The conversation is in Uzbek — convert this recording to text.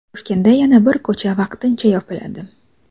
Toshkentda yana bir ko‘cha vaqtincha yopiladi.